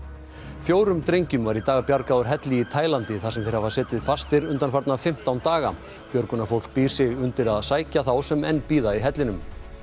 fjórum drengjum var í dag bjargað úr helli í Taílandi þar sem þeir hafa setið fastir undanfarna fimmtán daga björgunarfólk býr sig undir að sækja þá sem enn bíða í hellinum